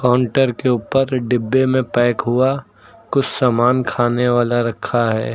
Counter के ऊपर डिब्बे में पैक हुआ कुछ समान खाने वाला रखा है।